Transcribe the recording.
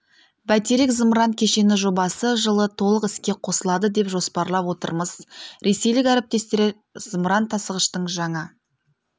бәйтерек зымыран кешені жобасы жылы толық іске қосылады деп жоспарлап отырмыз ресейлік әріптестер зымыран тасығыштың жаңа